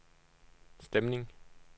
stemning